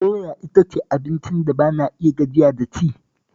Doya ita ce abincin da ba na gajiya da ci